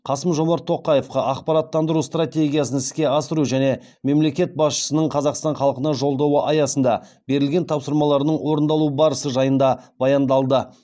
қасым жомарт тоқаевқа ақпараттандыру стратегиясын іске асыру және мемлекет басшысының қазақстан халқына жолдауы аясында берілген тапсырмаларының орындалу барысы жайында баяндалды